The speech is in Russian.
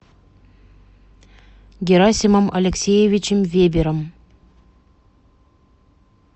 герасимом алексеевичем вебером